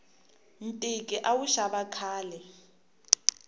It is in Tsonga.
ntiki a wu xava khale